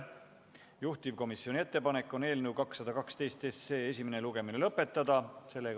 Juhtivkomisjoni ettepanek on eelnõu 212 esimene lugemine lõpetada.